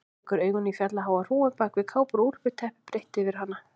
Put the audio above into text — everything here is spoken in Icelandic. Rekur augun í fjallháa hrúgu bak við kápur og úlpur, teppi breitt yfir hana.